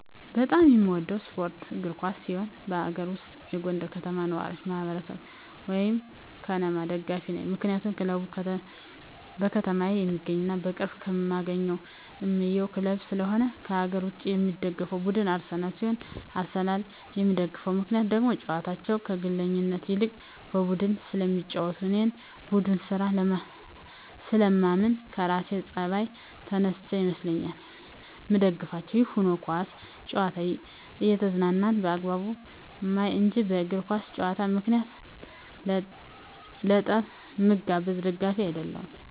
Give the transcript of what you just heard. በጣም የምወደው ስፓርት እግር ኳስ ሲሆን ከአገር ውስጥ የጎንደር ከተማ ነዋሪወች ማህበር(ከነማ) ደጋፊ ነኝ ምክንያቱም ክለቡ በከተማየ የሚገኝና በቅርብ እማገኘውና እማየው ክለብ ስለሆነ። ከአገር ውጭ የምደግፈው ቡድን አርሰናል ሲሆን አርሰናልን የምደግፍበት ምክንያት ደግሞ ጨዋታቸው ከግለኝነት ይልቅ በቡድን ስለሚጫወቱ እኔም በቡድን ስራ ስለማምን ከራሴ ጸባይ ተነስቸ ይመስለኛል ምደግፋቸው። ይህም ሁኖ ኳስ ጨዋታን እየተዝናናው በአግባቡ ማይ እንጅ በእግር ኳስ ጨዋታ ምክንያት ለጠብ ምጋበዝ ደጋፊ አደለሁም።